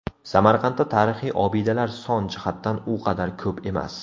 Samarqandda tarixiy obidalar son jihatidan u qadar ko‘p emas.